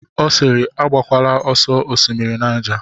Ọ siiri, agakwala nsọ Osimiri Naija!